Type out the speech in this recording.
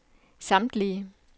samtlige